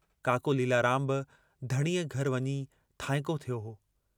काको लीलाराम बि धणीअ घर वञी थांईंको थियो हो।